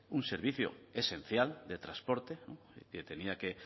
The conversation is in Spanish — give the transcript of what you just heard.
un servicio esencial de transporte que tenía que